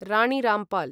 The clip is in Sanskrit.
रणि रामपाल्